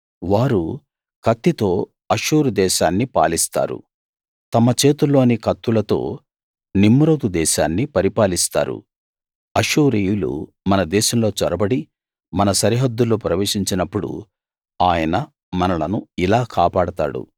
వారు కత్తితో అష్షూరు దేశాన్ని పాలిస్తారు తమ చేతుల్లోని కత్తులతో నిమ్రోదు దేశాన్ని పరిపాలిస్తారు అష్షూరీయులు మన దేశంలో చొరబడి మన సరిహద్దుల్లో ప్రవేశించినప్పుడు ఆయన మనలను ఇలా కాపాడతాడు